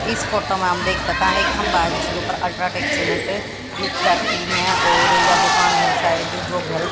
इस फोटो मा हम देख सका हैं एक खंभा जिसके ऊपर अल्ट्राटेक सीमेंट लिख रखी हैं और यह दुकान है शायद दो घर--